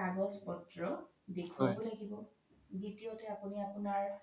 কাগজ পত্ৰ দেখুৱাব লাগিব দ্বিতীয়তে আপোনি আপোনাৰ